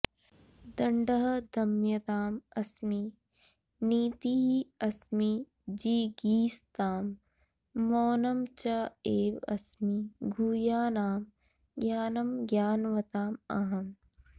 दण्डः दमयताम् अस्मि नीतिः अस्मि जिगीषताम् मौनं च एव अस्मि गुह्यानां ज्ञानं ज्ञानवताम् अहम्